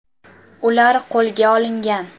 Ular qo‘lga olingan.